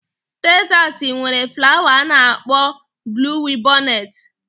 Tezasi nwere flawa a na-akpọ bluwibọnet